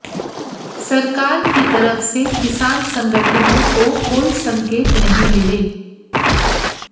सरकार की तरफ से किसान संगठनों को कोई संकेत नहीं मिले